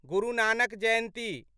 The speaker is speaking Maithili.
गुरु नानक जयन्ती